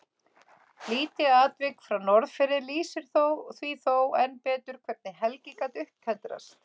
Lítið atvik frá Norðfirði lýsir því þó enn betur hvernig Helgi gat upptendrast.